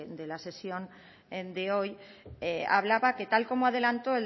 de la sesión de hoy hablaba que tal y como adelantó